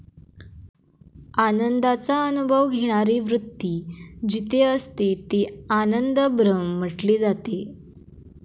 आनंदाचा अनुभव घेणारी वृत्ती जिथे असते ते आनंद ब्रह्म म्हटले जाते.